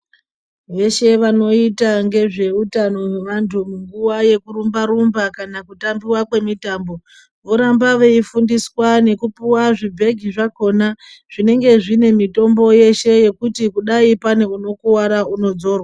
Veshe vanoita ngezveutano hwevanhu munguwa yekurumba rumba kana kana kutambiwa kwemitambo voramba veifundiswa ngekupuwa zvibhegi zvakhona zvinenge zvine mitombo yeshe yekuti kudayi pane wakuwara weshe unodzorwa.